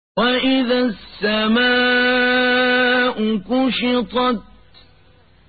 وَإِذَا السَّمَاءُ كُشِطَتْ